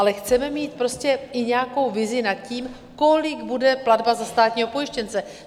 Ale chceme mít prostě i nějakou vizi nad tím, kolik bude platba za státního pojištěnce.